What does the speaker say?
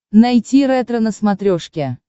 найти ретро на смотрешке